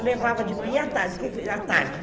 Eu levava de manhã à tarde. Q tarde